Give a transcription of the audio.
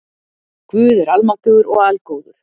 Guð er almáttugur og algóður.